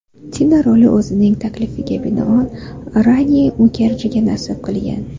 Tina roli o‘zining taklifiga binoan Rani Mukerjiga nasib qilgan.